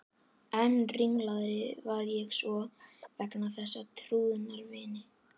Enn ringlaðri varð ég svo vegna þess að trúnaðarvini